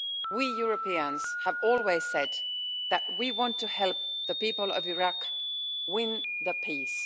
We Europeans have always said that we want to help the people of Iraq win peace.